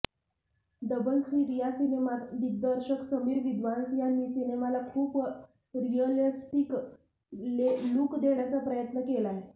double seat या सिनेमात दिग्दर्शक समीर विद्वांस यांनी सिनेमाला खूप रियलीस्टीक लूक देण्याचा प्रयत्न केलाय